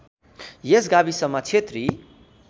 यस गाविसमा क्षेत्री